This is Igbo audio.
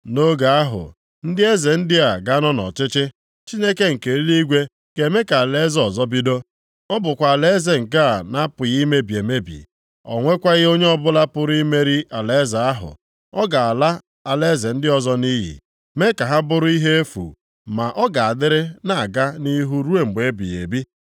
“Nʼoge ahụ, ndị eze ndị a ga-anọ nʼọchịchị, Chineke nke eluigwe ga-eme ka alaeze ọzọ bido. Ọ bụkwa alaeze nke a na-apụghị imebi emebi. O nwekwaghị onye ọbụla pụrụ imeri alaeze ahụ. Ọ ga-ala alaeze ndị ọzọ nʼiyi, mee ka ha bụrụ ihe efu, ma ọ ga-adịrị na-aga nʼihu ruo ebighị ebi.